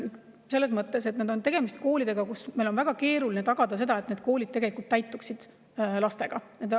Selles mõttes on tegemist koolidega, kus meil on väga keeruline tagada seda, et need täituksid lastega.